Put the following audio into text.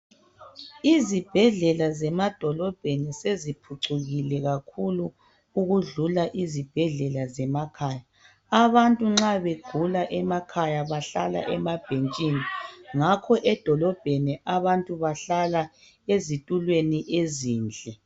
Izibhedlela zemadolobheni seziphucukile kakhulu ukudlula izibhedlela zemakhaya. Abantu nxa begula emakhaya bahlala emabhentshini. Ngakho edolobheni abantu bahlala ezitulweni ezinhle.